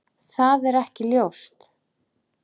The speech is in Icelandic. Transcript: Það er ekki ljóst.